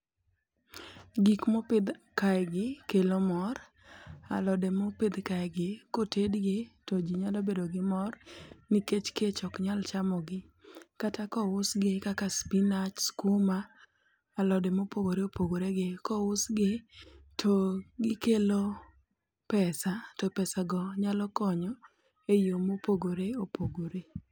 Gik mopidh kae gi kelo mor, alode mopidh kae gi kotedgi to ji nyalo bedo gi mor nikech kech ok nyal chamo gi. Kata kousgi kaka spinach skuma, alode mopogore opogore gi. Kousgi to gikelo pesa to pesav go nyalo konyo e yo mopogore opogore.